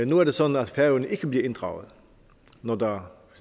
nu er det sådan at færøerne ikke bliver inddraget når der